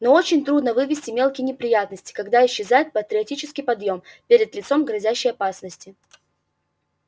но очень трудно вынести мелкие неприятности когда исчезает патриотический подъём перед лицом грозящей опасности